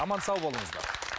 аман сау болыңыздар